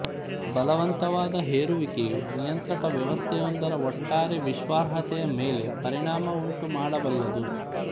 ಬಲವಂತವಾದ ಹೇರುವಿಕೆಯು ನಿಯಂತ್ರಕ ವ್ಯವಸ್ಥೆಯೊಂದರ ಒಟ್ಟಾರೆ ವಿಶ್ವಾಸಾರ್ಹತೆಯ ಮೇಲೆ ಪರಿಣಾಮವುಂಟುಮಾಡಬಲ್ಲದು